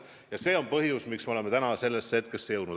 Ja see on põhjus, miks me oleme praegusesse seisu jõudnud.